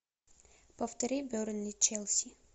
повтори бернли челси